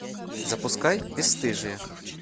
запускай бесстыжие